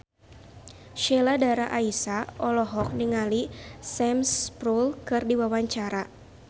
Sheila Dara Aisha olohok ningali Sam Spruell keur diwawancara